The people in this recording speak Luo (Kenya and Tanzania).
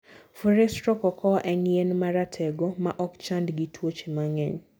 Forestro cocoa en yien ma ratego maokchand gi tuoche mang'eny